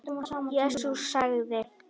Jesús sagði:.